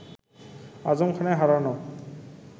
আজম খানের হারানো